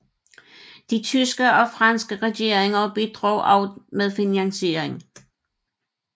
De tyske og franske regeringer bidrog også med finansiering